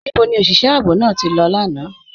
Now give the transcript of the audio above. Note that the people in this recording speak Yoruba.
Níbò ni oṣiṣẹ̀ ààbò náà tí lọ lána?